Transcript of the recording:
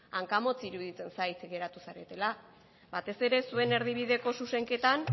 hankamotz iruditzen zait geratu zaretela batez ere zuen erdibideko zuzenketan